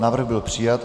Návrh byl přijat.